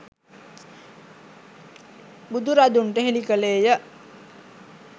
බුදුරදුන්ට හෙළිකළේය.